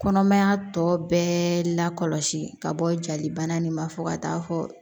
Kɔnɔmaya tɔ bɛɛ la kɔlɔsi ka bɔ jalibana nin ba fo ka taa fɔ